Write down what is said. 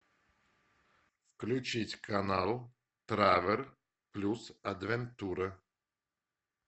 включить канал тревел плюс адвентуре